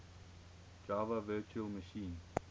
java virtual machine